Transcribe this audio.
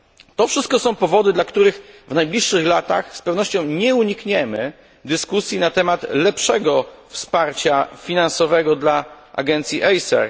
To wszystko są powody, dla których w najbliższych latach z pewnością nie unikniemy dyskusji na temat lepszego wsparcia finansowego dla agencji ACER.